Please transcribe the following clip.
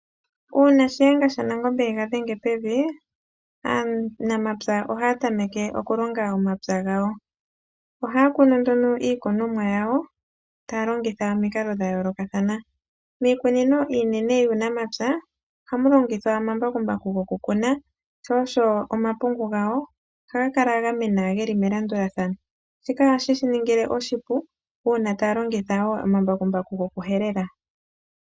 Uuna Shiyenga shaNangombe ega dhenge pevi, aanamapya ohaya tameke oku longa omapya gawo. Ohaya kunu nduño iikunomwa yawo taya longitha omikalo dha yoolokathana. Miikunino iinene yuunamapya ohamu longithwa omambakumbaku gokukuna, sho osho omapungu gawo ohaga kala ga mena ge li melandulathano. Shika ohashi ya ningilwa oshipu uuna taya longitha wo omambakumbaku gokuhelela.